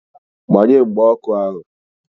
Gbanye mgba ọkụ ahu!